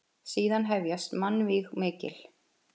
Síðan hefjast mannvíg mikil.